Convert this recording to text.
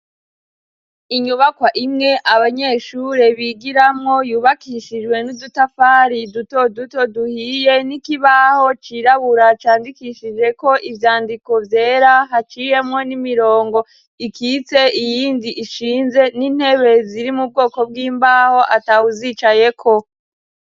Inyubakwa imwe abanyeshure bigiramwo yubakishijwe n'udutafari duto duto duhiye n'ikibaho cirabura candikishijeko ivyandiko vyera haciyemwo n'imirongo ikitse iyindi ishinze n'intebe ziri mu bwoko bw'imbaho atawuzicayeko.